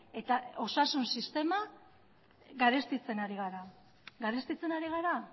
eta osasun sistema garestitzen ari gara garestitzen ari gara